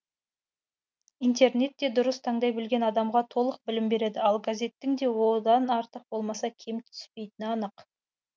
интернет те дұрыс таңдай білген адамға толық білім береді ал газеттің де одан артық болмаса кем түспейтіні анық